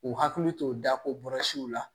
U hakili to da o kɔrɔsiw la